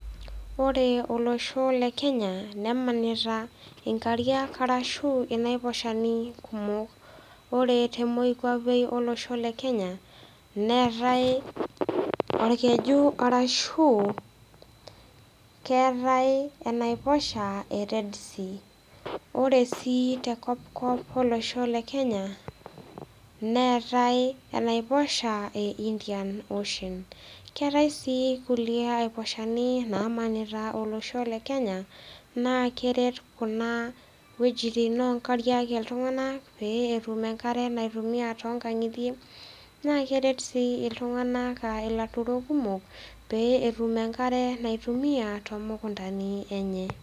Ore olosho le Kenya nemanita inkariak ashu inaifashani kumok. Ore te moikuape olosho le Kenya, neatai olkeju ashu, keatai enaiposha e Red Sea. Ore sii te kopkop olosho le Kenya, neatai enaiposha e Indian Ocean, keatai sii kulie aiposhani namanita olosho le Kenya naa keret kuna wuejitin o nkariak iltung'anak pee etum enkare naitumia tonkang'itie naa keret sii iltung'ana a ilaturrok kumok pee etum enkare naitumia tomokondani enye.